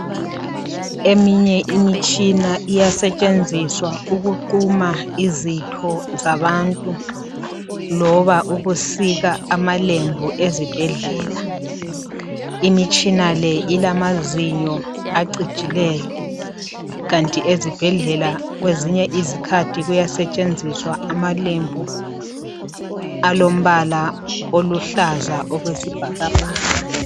Eminye imitshina iyasetshenziswa ukusika izitho zabantu loba ukusika amalembu ezibhedlela , imitshina le ilamazinyo acijileyo kanti ezibhedlela kwezinye izikhathi kuyasetshenziswa amalembu alombala oluhlaza okwesibhakabhaka